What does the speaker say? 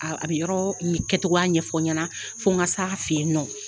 A bɛ yɔrɔ kɛcogo ɲɛfɔ n ɲɛna fɔ n ka se a fɛ yen nɔ.